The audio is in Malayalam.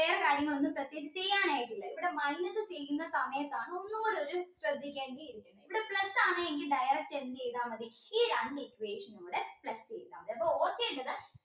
കാര്യങ്ങൾ ഒന്നും പ്രത്യേകിച്ച് ചെയ്യാനായിട്ടില്ല ഇവിടെ minus ചെയ്യുന്ന സമയത്താണ് ഒന്നുകൂടി ഒരു ശ്രദ്ധിക്കേണ്ടി ഇവിടെ plus ആണെങ്കിൽ direct എന്ത് ചെയ്താ മതി ഈ രണ്ട് equation നും കൂടെ plus ചെയ്താ മതി അപ്പോ ഓർക്കേണ്ടത്